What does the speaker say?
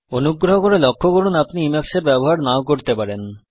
অনুগ্রহ করে লক্ষ্য করুন আপনি Emacs এর ব্যবহার নাও করতে পারেন